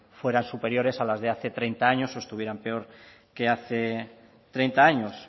fueran superiores a las de hace treinta años o estuvieran peor que hace treinta años